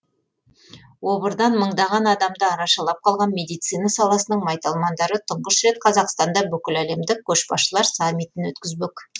обырдан мыңдаған адамды арашалап қалған медицина саласының майталмандары тұңғыш рет қазақстанда бүкіләлемдік көшбасшылар саммитін өткізбек